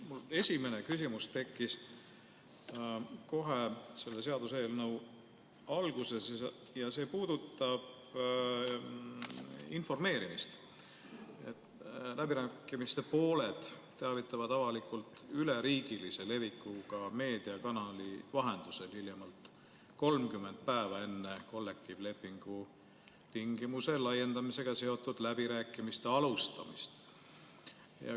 Minu esimene küsimus tekkis kohe selle seaduseelnõu alguses ja see puudutab informeerimist: "Läbirääkimiste pooled teavitavad avalikkust üleriigilise levikuga meediakanali vahendusel hiljemalt 30 päeva enne kollektiivlepingu tingimuse laiendamisega seotud läbirääkimiste alustamist ...